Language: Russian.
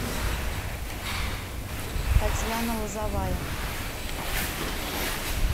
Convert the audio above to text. татьяна лозовая